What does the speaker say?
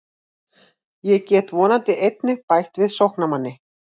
Ég get vonandi einnig bætt við sóknarmanni.